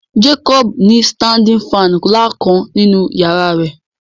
Jacob ni sitandin fàànù nla kan ninu yara rẹ